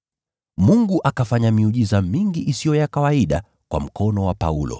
Mungu akafanya miujiza mingi isiyo ya kawaida kwa mkono wa Paulo,